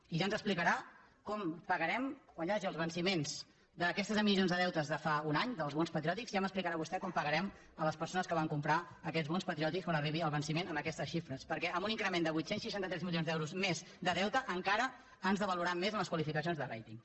i ja ens explicarà com pagarem quan hi hagi els venciments d’aquestes emissions de deute de fa un any dels bons patriòtics ja m’explicarà vostè com pagarem a les persones que van comprar aquests bons patriòtics quan arribi el venciment amb aquestes xifres perquè amb un increment de vuit cents i seixanta tres milions d’euros més de deute encara ens devaluaran més en les qualificacions de rating